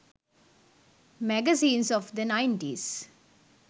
magazines of the 90s